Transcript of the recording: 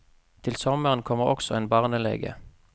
Til sommeren kommer også en barnelege.